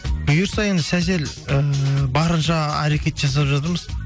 бұйырса енді сәл сәл ііі барынша әрекет жасап жатырмыз